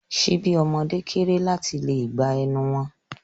Ṣíbí ọmọde kéré láti lè gba ẹnu wọn.